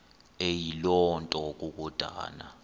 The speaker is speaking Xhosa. eyiloo nto kukodana